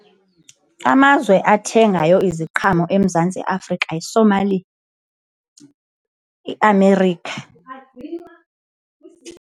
Amazwe athengayo iziqhamo eMzantsi Afrika yi-Somalia, i-America.